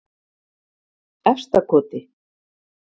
Efstakoti